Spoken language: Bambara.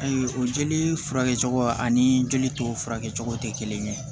Ayi o jeli furakɛ cogo ani jeli tɔ furakɛ cogo tɛ kelen ye